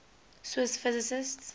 swiss physicists